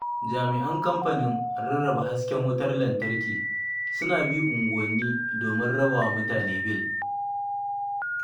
Jami'an kamfanin rarraba hasken wutar lantarki, suna bi unguwanni domin rabawa mutane bil.